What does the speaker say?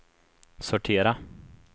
sortera